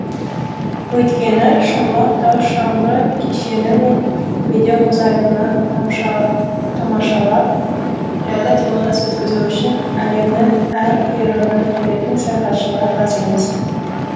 өйткені шымбұлақ тау шаңғы кешені мен медеу мұз айдынын тамашалап жайлы демалыс өткізу үшін әлемнің әр қиырынан келетін саяхатшылар аз емес